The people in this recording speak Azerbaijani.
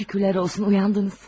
Şükürlər olsun, oyandınız.